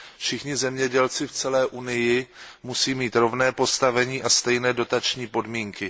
Všichni zemědělci v celé Unii musí mít rovné postavení a stejné dotační podmínky.